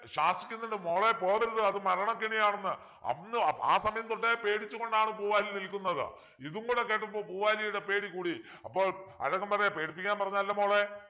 ശാസിക്കുന്നുണ്ട് മോളെ പോവരുത് അത് മരണക്കെണിയാണെന്നു അന്ന് ആ സമയം തൊട്ടേ പേടിച്ചുകൊണ്ടാണ് പൂവാലി നിൽക്കുന്നത് ഇതും കൂടെ കേട്ടപ്പോൾ പൂവാലിയുടെ പേടി കൂടി അപ്പൊൾ അഴകൻ പറയാ പേടിപ്പിക്കാൻ പറഞ്ഞതല്ല മോളെ